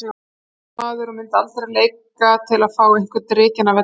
Ég er atvinnumaður og myndi aldrei leika til að fá einhvern rekinn af velli.